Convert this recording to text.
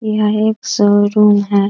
यह एक शोरूम है।